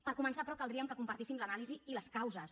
per començar però caldria que compartíssim l’anàlisi i les causes